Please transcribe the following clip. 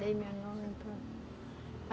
Dei meu nome.